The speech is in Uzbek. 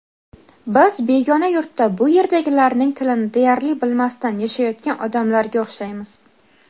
Biz begona yurtda bu yerdagilarning tilini deyarli bilmasdan yashayotgan odamlarga o‘xshaymiz.